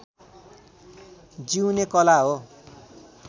जिउने कला हो